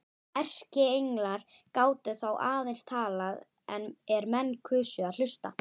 Erkienglar gátu þá aðeins talað er menn kusu að hlusta.